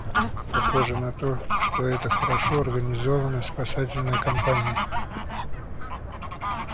похоже на то что это хорошо организованная спасательная кампания